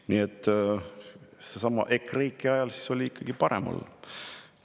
Nii et sellesama EKREIKE ajal oli ikkagi parem olla.